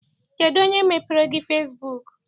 Kedụ onye mepeere gị fesibuuku?